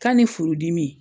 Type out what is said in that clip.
K'a ni furudimi